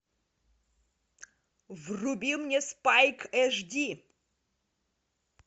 вруби мне спайк эйчди